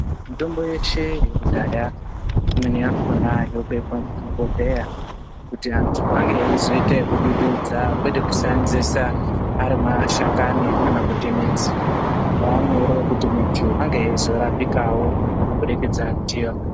Mitombo yeshe yekudhaya, imweni yakhona yobekwa muzvibhodhleya kuti antu ange eizoita ekudududza kwete kusaenzesa ari mashakani kana kuti midzi zvinova nyore kuti muntu ange eizorapikawo kubudikidza ndiyona.